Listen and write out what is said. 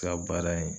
Ka baara ye